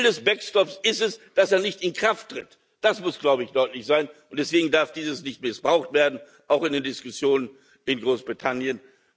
Ziel des Backstops ist es, dass er nicht in Kraft tritt. Das muss deutlich sein, und deswegen darf dieses nicht missbraucht werden, auch nicht in den Diskussionen in Großbritannien.